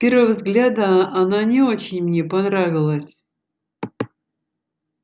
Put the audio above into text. с первого взгляда она не очень мне понравилась